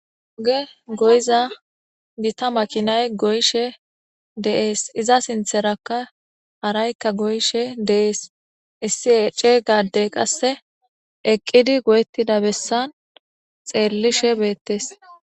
Be goyiza gita makinay deesi iza sinththtarakka harayi goyishshe deesi issi cega adeyi qase eqidi gogetida besa xelishshe beteesi